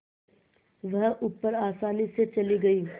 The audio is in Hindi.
वह ऊपर आसानी से चली गई